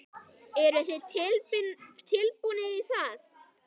Eru þið tilbúnir í það?